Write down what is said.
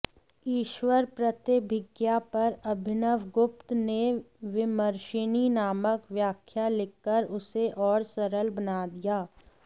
ईश्वरप्रत्यभिज्ञा पर अभिनव गुप्त ने विमर्शिनी नामक व्याख्या लिखकर उसे और सरल बना दिया